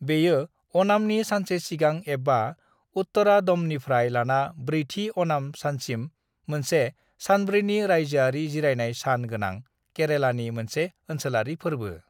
बेयो अणामनि सानसे सिगां एबा उत्तरादमनिफ्राय लाना ब्रैथि अणाम सानसिम मोनसे सानब्रैनि रायजोआरि जिरायनाय सान गोनां केरेलानि मोनसे ओनसोलारि फोर्बो।